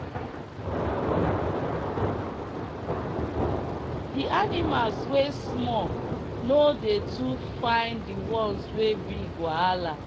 d animals wey small no dey too find the ones wey big wahala